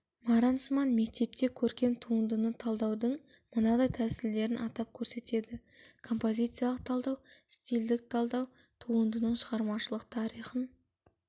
маранцман мектепте көркем туындыны талдаудың мынадай тәсілдерін атап көрсетеді композициялық талдау стильдік талдау туындының шығармашылық тарихын